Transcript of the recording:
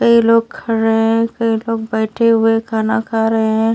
कई लोग खरे रहे हैं कई लोग बैठे हुए खाना खा रहे हैं।